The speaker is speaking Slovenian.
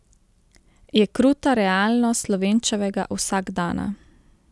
Je kruta realnost Slovenčevega vsakdana.